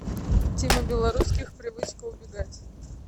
тима белорусских привычка убегать